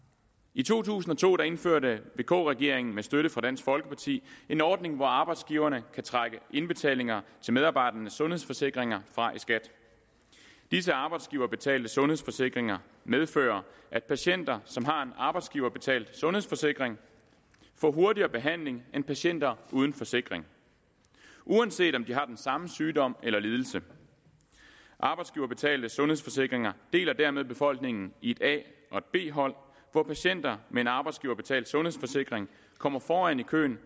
i to tusind og to indførte vk regeringen med støtte fra dansk folkeparti en ordning hvor arbejdsgiverne kan trække indbetalinger til medarbejdernes sundhedsforsikringer fra i skat disse arbejdsgiverbetalte sundhedsforsikringer medfører at patienter som har en arbejdsgiverbetalt sundhedsforsikring får hurtigere behandling end patienter uden forsikring uanset om de har den samme sygdom eller lidelse arbejdsgiverbetalte sundhedsforsikringer deler dermed befolkning i et a og et b hold hvor patienter med en arbejdsgiverbetalt sundhedsforsikring kommer foran i køen